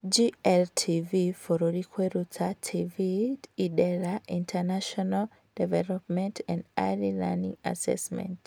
GLTV bũrũri Kwĩruta TV IDELA International Development and Early Learning Assessment